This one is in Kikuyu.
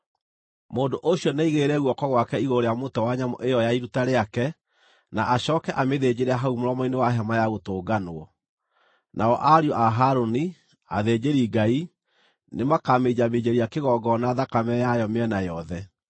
Mũndũ ũcio nĩaigĩrĩre guoko gwake igũrũ rĩa mũtwe wa nyamũ ĩyo ya iruta rĩake, na acooke amĩthĩnjĩre hau mũromo-inĩ wa Hema-ya-Gũtũnganwo. Nao ariũ a Harũni, athĩnjĩri-Ngai, nĩmakaminjaminjĩria kĩgongona thakame yayo mĩena yothe.